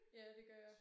Ja det gør jeg